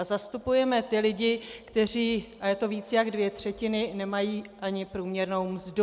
A zastupujeme ty lidi, kteří, a je to více než dvě třetiny, nemají ani průměrnou mzdu.